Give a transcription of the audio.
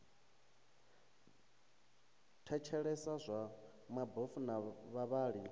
thetshelesa zwa mabofu na vhavhali